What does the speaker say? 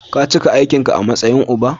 Ka cika aikin ka a matsayin uba.